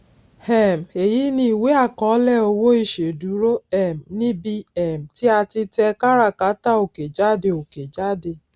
um èyí ni ìwé àkọọlẹ owó ìṣèdúró um níbi um tí a ti tẹ káràkátà òkè jáde òkè jáde